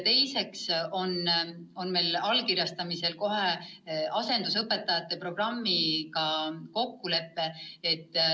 Teiseks me allkirjastame kohe asendusõpetajate programmi kokkuleppe.